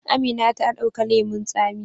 Amina ta dauka lemun tsamin.